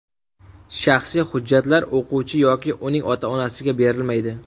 Shaxsiy hujjatlar o‘quvchi yoki uning ota-onasiga berilmaydi.